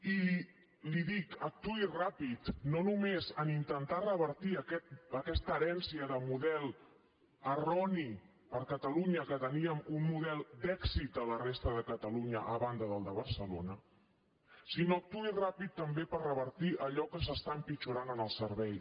i li ho dic actuï ràpid no només en intentar revertir aquesta herència de model erroni per a catalunya que teníem un model d’èxit a la resta de catalunya a banda del de barcelona sinó que actuï ràpid també per revertir allò que s’està empitjorant en el servei